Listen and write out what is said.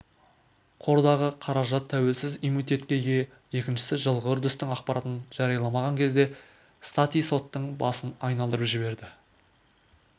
қордағы қаражат тәуелсіз иммунитетке ие екіншісіжылғы үрдістің ақпаратын жарияламаған кезде стати соттың басын айналдырып жіберді